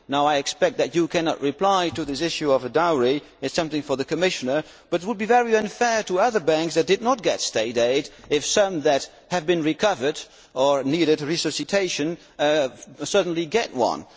I expect that you cannot reply to this issue of a dowry it is something for the Commissioner but it would be very unfair to other banks that did not get State aid if some that have been recovered or needed resuscitation suddenly got